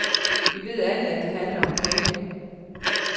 Vi ved alle, at det handler om penge.